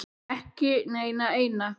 Ekki neina eina.